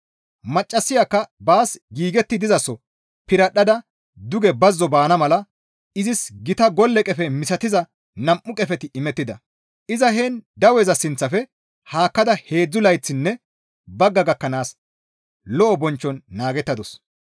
Maccassayakka baas giigetti dizaso piradhdhada duge bazzo baana mala izis gita golle qefe misatiza nam7u qefeti imettida; iza heen daweza sinththafe haakkada heedzdzu layththinne bagga gakkanaas lo7o bonchchon naagettadus.